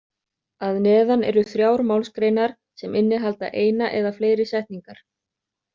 Að neðan eru þrjár málsgreinar sem innihalda eina eða fleiri setningar.